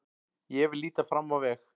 Ég vil líta fram á veg.